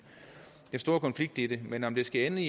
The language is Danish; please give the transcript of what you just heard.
store konflikt i det men om det skal ende